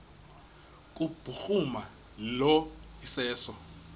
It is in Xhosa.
kubhuruma lo iseso